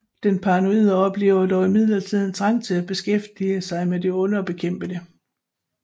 Den paranoide oplever dog imidlertid en trang til at beskæftige sig med dette onde og bekæmpe det